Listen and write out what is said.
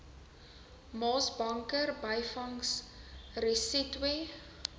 maasbanker byvangs resetwe